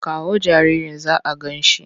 Kawo jaririn za a gan shi!